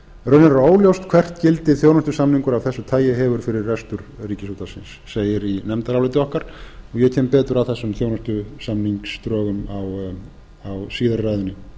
er óljóst hvert gildi þjónustusamningur af þessi tagi hefur fyrir rekstur ríkisútvarpsins segir í nefndaráliti okkar og ég kem betur að þessum þjónustusamningsdrögum síðar í ræðunni